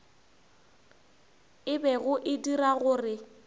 e bego e dira gore